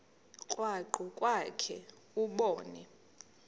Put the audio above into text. krwaqu kwakhe ubone